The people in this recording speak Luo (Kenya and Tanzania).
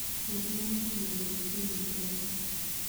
Wuoth nyalo konyo e golo kuyo ma pile.